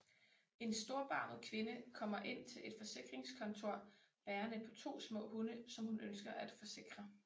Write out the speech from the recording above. En storbarmet kvinde kommer ind til et forsikringskontor bærende på to små hunde som hun ønsker at forsikre